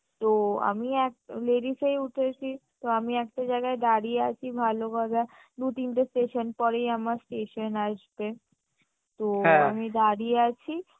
তো আমি এক ladies এই উঠেছি তো আমি একটা জায়গায় দাঁড়িয়ে আছি ভালোভাবে দু তিনটে station পরেই আমার station আসবে তো আমি দাঁড়িয়ে আছি